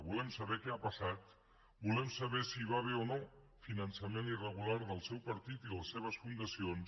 volem saber què ha passat volem saber si hi va haver o no finançament irregular del seu partit i les seves fundacions